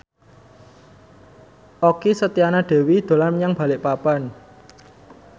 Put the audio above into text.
Okky Setiana Dewi dolan menyang Balikpapan